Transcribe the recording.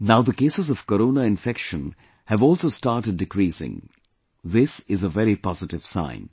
Now the cases of corona infection have also started decreasing this is a very positive sign